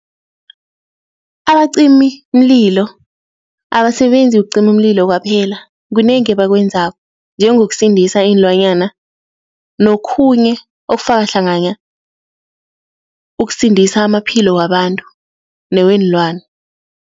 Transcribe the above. Abacimimlilo abasebenzi ukucima umlilo kwaphela kunengi ebakwenzako, njengokusindisa iinlwanyana nokhunye okufaka hlangana ukusindisa amaphilo wabantu neweenlwana.